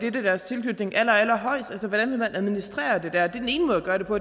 i deres tilknytning altså hvordan vil man administrere det det er den ene måde at gøre det på